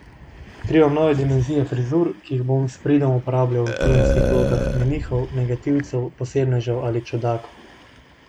Odkrivam nove dimenzije frizur, ki jih bom s pridom uporabljal v filmskih vlogah menihov, negativcev, posebnežev ali čudakov!